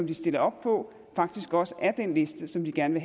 de stiller op på faktisk også er den liste som de gerne